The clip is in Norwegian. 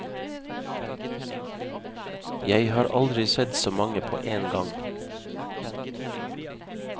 Jeg har aldri sett så mange på én gang.